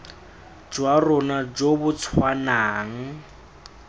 jwa rona jo bo tshwanang